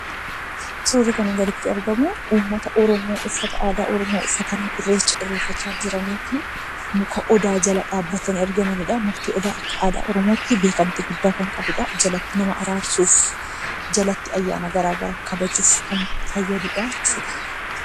Suurri kanaa gaditti argamu uummata Oromoo uffata aadaa Oromoo uffatanii Irreecha irreeffachaa jiraniiti. Muka Odaa jala dhaabbatanii argamanidha. Mukti odaa akka aadaa Oromootti beekamtii guddaa kan qabudha. Jalatti nama araarsuuf, jalatti ayyaana garaa garaa kabajuuf kan fayyadudhaa jechuudha.